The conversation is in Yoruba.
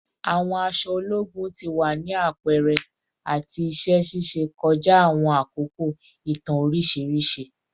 Awọn aṣọ ologun ti wa ni apẹrẹ ati iṣẹ ṣiṣe kọja awọn akoko itan oriṣiriṣi